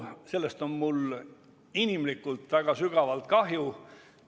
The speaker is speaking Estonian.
Sellest on mul inimlikult väga sügavalt kahju.